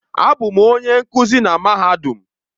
Abụ m onye nkuzi na mahadum.